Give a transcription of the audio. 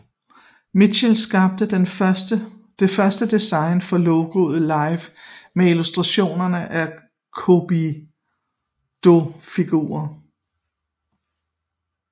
Mitchell skabte det første design for logoet Life med illustrationer af cupidofigurer